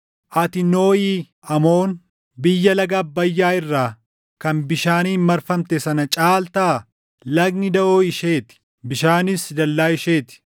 Ati, Nooʼi Amoon biyya laga Abbayyaa irraa kan bishaaniin marfamte sana caaltaa? Lagni daʼoo ishee ti; bishaanis dallaa ishee ti.